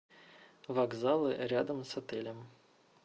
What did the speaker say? вокзалы рядом с отелем